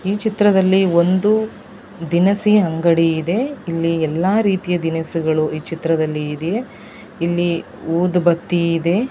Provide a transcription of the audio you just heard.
ಈ ಚಿತ್ರದಲ್ಲಿ ಒಂದು ದಿನಸಿ ಅಂಗಡಿ ಇದೆ ಇಲ್ಲಿ ಎಲ್ಲ ರೀತಿಯ ದಿನಸಿಗಳು ಈ ಚಿತ್ರದಲ್ಲಿ ಇದೆ ಇಲ್ಲಿ ಊದುಬತ್ತಿ ಇದೆ.